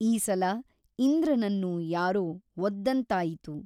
ಈ ಸಲ ಇಂದ್ರನನ್ನು ಯಾರೋ ಒದ್ದಂತಾಯಿತು.